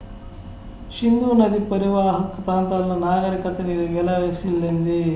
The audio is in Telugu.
సింధు నది పరీవాహక ప్రాంతాల్లో నాగరికత విలసిల్లింది